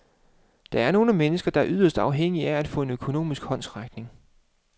Der er nogle mennesker, der er yderst afhængige af at få en økonomisk håndsrækning.